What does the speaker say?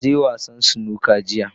Na je wasa Snooker jiya.